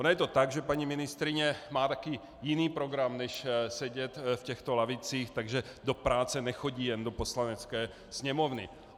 Ono je to tak, že paní ministryně má taky jiný program než sedět v těchto lavicích, takže do práce nechodí jen do Poslanecké sněmovny.